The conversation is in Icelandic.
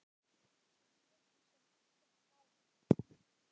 Við létum sem ekkert væri.